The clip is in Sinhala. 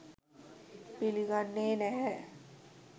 පිළිගන්නේ නැහැ